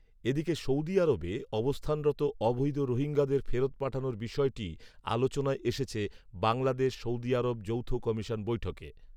এদিকে সৌদি আরবে অবস্থানরত অবৈধ রোহিঙ্গাদের ফেরত পাঠানোর বিষয়টি আলোচনায় এসেছে বাংলাদেশ সৌদি আরব যৌথ কমিশন বৈঠকে